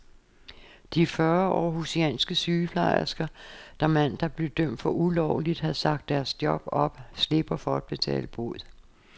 De fyrre århusianske sygeplejersker, der mandag blev dømt for ulovligt at have sagt deres job op, slipper for at betale bod.